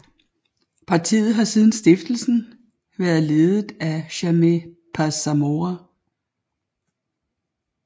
Partiet har siden stiftelsen været ledet af Jaime Paz Zamora